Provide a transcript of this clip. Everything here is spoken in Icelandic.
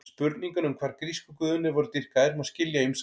Spurninguna um hvar grísku guðirnir voru dýrkaðir má skilja á ýmsa vegu.